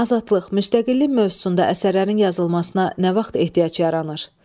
Azadlıq, müstəqillik mövzusunda əsərlərin yazılmasına nə vaxt ehtiyac yaranır?